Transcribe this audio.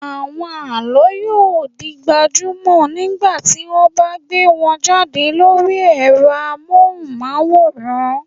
Àwọn àlọ́ yóò di gbajúmọ̀ nígbà tí wọ́n bá gbé wọn jáde lórí ẹ̀rọ amóhùnmáwòrán.